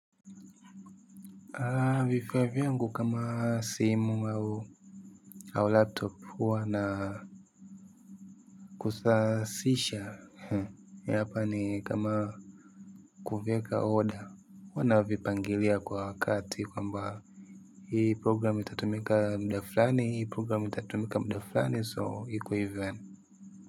Vifaa vyangu kama simu au au laptop huwa na kusasisha hapa ni kama kuviweka order huwa navipangilia kwa wakati kwamba hii programu itatumika muda fulani hii programu itatumika muda fulani so iko hivyo yaani.